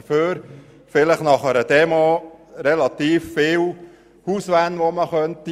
Dafür könnten nach einer Demo vielleicht relativ viele Hauswände abgelaugt werden.